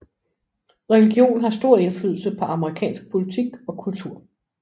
Religion har stor indflydelse på amerikansk politik og kultur